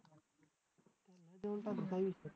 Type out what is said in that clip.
देऊन टाकू काय विषय